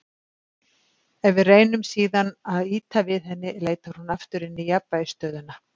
Ef við reynum síðan að ýta við henni leitar hún aftur inn í jafnvægisstöðuna.